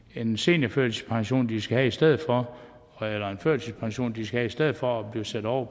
er en seniorførtidspension de skal have i stedet for eller en førtidspension de skal have i stedet for at blive sat over